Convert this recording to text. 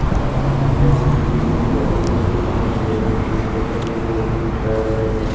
अअअ वहाँ पे बिल्डिंग के गैलरी के अंदर जो है कुछ कपड़े जो है वो लटकाए हुए है।